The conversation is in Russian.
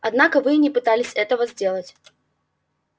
однако вы и не пытались этого сделать